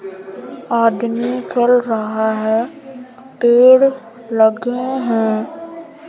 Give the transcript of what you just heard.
आदमी चल रहा है पेड़ लगे हैं।